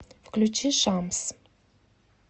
включи шамс